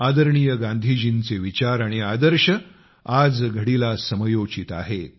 आदरणीय गांधीजींचे विचार आणि आदर्श आजघडीला समयोचित आहेत